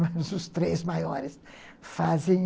Mas os três maiores fazem...